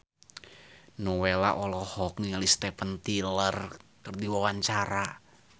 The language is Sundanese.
Nowela olohok ningali Steven Tyler keur diwawancara